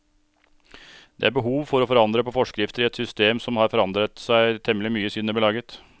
Det er behov for å forandre på forskrifter i et system som har forandret seg temmelig mye siden det ble laget.